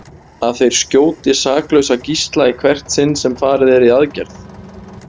Að þeir skjóti saklausa gísla í hvert sinn sem farið er í aðgerð?